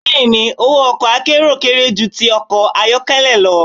Bẹ́ẹ̀ni, owó ọkọ̀ akérò kéré ju ti ọkọ̀ ayọ́kẹ́lẹ́ lọ.